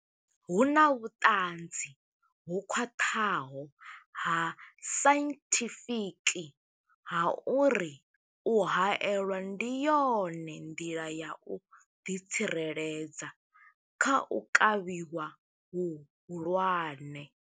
Hu na vhuṱanzi ho khwaṱhaho ha sainthifiki ha uri u haelwa ndi yone nḓila ya u ḓitsireledza kha u kavhiwa hu hulwane.